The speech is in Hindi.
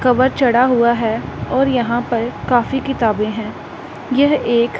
कवर चढ़ा हुआ है और यहां पर काफी किताबें हैं यह एक--